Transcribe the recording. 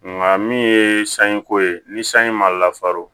Nka min ye sanji ko ye ni sanji ma lafaron